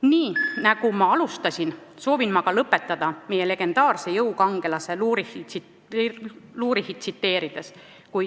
Nii nagu ma alustasin, soovin ka lõpetada meie legendaarset jõukangelast Lurichit tsiteerides.